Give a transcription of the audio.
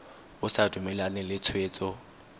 o sa dumalane le tshwetso